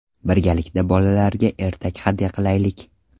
Birgalikda bolalarga ertak hadya qilaylik!.